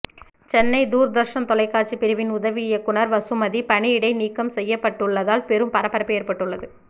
சென்னை தூர்தர்ஷன் தொலைக்காட்சி பிரிவின் உதவி இயக்குநர் வசுமதி பணியிடை நீக்கம் செய்யப்பட்டுள்ளதால் பெரும் பரபரப்பு ஏற்பட்டுள்ளது